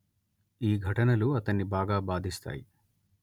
ఈ ఘటనలు అతన్ని బాగా బాధిస్తాయి